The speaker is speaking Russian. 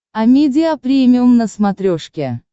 амедиа премиум на смотрешке